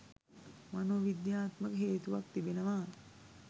මනෝවිද්‍යාත්මක හේතුවක් තිබෙනවා.